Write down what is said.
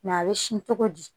a bɛ sin cogo di